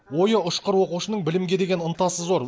ойы ұшқыр оқушының білімге деген ынтасы зор